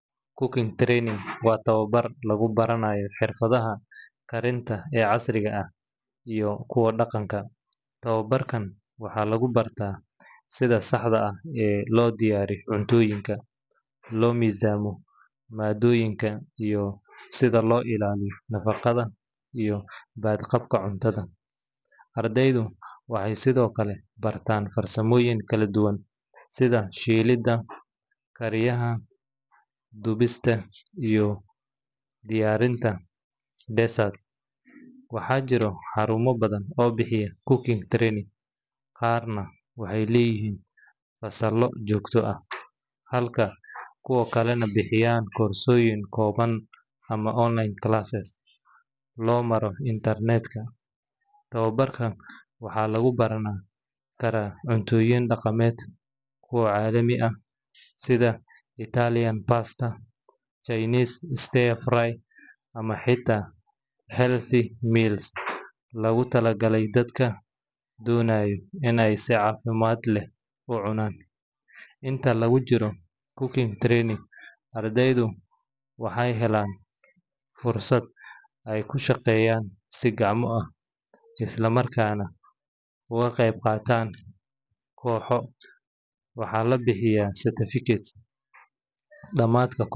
Cooking training waa tababar lagu baranayo xirfadaha karinta ee casriga ah iyo kuwa dhaqanka. Tababarkan waxaa lagu bartaa sida saxda ah ee loo diyaariyo cuntooyinka, loo miisaamo maaddooyinka, iyo sida loo ilaaliyo nadaafadda iyo badqabka cuntada. Ardaydu waxay sidoo kale bartaan farsamooyin kala duwan sida shiilidda, kariyaha, dubista, iyo diyaarinta desserts. Waxaa jira xarumo badan oo bixiya cooking training, qaarna waxay leeyihiin fasallo joogto ah, halka kuwa kalena bixiyaan koorsooyin kooban ama online classes loo maro internetka. Tababarka waxaa lagu baran karaa cuntooyin dhaqameed, kuwa caalami ah sida Italian pasta, Chinese stir-fry, ama xitaa healthy meals loogu talagalay dadka doonaya in ay si caafimaad leh u cunaan. Inta lagu jiro cooking training, ardaydu waxay helaan fursad ay ku shaqeeyaan si gacmo ah, isla markaana uga qayb qaataan kooxo. Waxaa la bixiyaa certificates dhammaadka.